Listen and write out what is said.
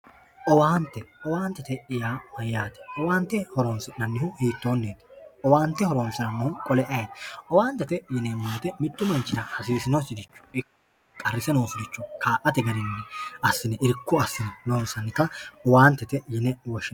Owaante, owaantete yaa mayyaate? Owaante hiittoonniiti? Owaante horonsirannohu qole ayeeti? Owaantete yineemmo woyiite mittu manchira hasiisinoricho ikko qarrise noosiricho kaa'ate garinni irko assine loonsanni garita owaantete yine woshshinanni.